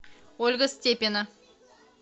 ольга степина